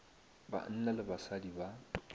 ba banna le basadi ba